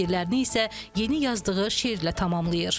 Bu fikirlərini isə yeni yazdığı şeirlə tamamlayır.